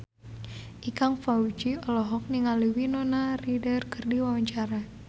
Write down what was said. Ikang Fawzi olohok ningali Winona Ryder keur diwawancara